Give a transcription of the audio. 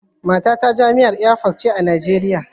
Matata jami'ar Air Force ce a Najeriya